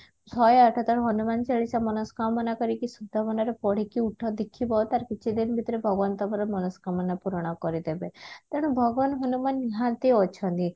ଶହେ ଆଠଥର ହନୁମାନ ଚାଳିଶା ମନସ୍କାମନା କରିକି ସୁଧ ମନରେ ପଢିକି ଉଠ ଦେଖିବ ତାର କିଛିଦିନ ଭିତରେ ଭଗବାନ ତମର ମନସ୍କାମନା ପୂରଣ କରିଦେବେ ତେଣୁ ଭଗବାନ ହନୁମାନ ନିହାତି ଅଛନ୍ତି